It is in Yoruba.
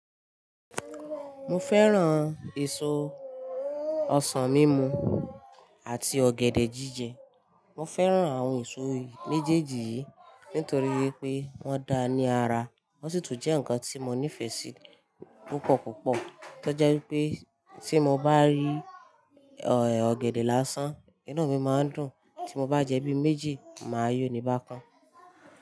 Mo fẹ́ran èso ọsàn mímu àti ọ̀gẹ̀dẹ̀ jíjẹ. Mo fẹ́ran àwọn èso méjèèjì yìí nítorí pé wọ́n da ní ara. Wọ́n sì tún jẹ́ ǹkan tí mo nífẹ̀ẹ́ sí púpọ̀ púpọ̀. Tọ́ jẹ́ wípé tí mo bá rí ọ̀gẹ̀dẹ̀ lásán, inú mi máa ń dùn. Tí mo bá jẹ bí méjì, màá yó'ni bákan.